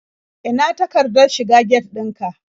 Ina takardar shiga get ɗin ka?